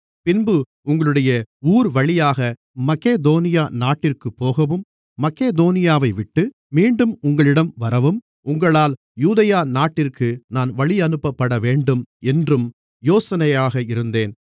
பின்பு உங்களுடைய ஊர்வழியாக மக்கெதோனியா நாட்டிற்குப் போகவும் மக்கெதோனியாவைவிட்டு மீண்டும் உங்களிடம் வரவும் உங்களால் யூதேயா நாட்டிற்கு நான் வழியனுப்பப்படவேண்டும் என்றும் யோசனையாக இருந்தேன்